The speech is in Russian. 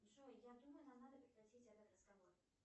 джой я думаю нам надо прекратить этот разговор